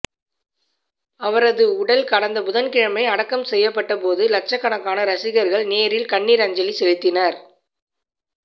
அவரது உடல் கடந்த புதன்கிழமை அடக்கம் செய்யப்பட்டபோது லட்சக்கணக்கான ரசிகர்கள் நேரில் கண்ணீர் அஞ்சலி செலுத்தினர்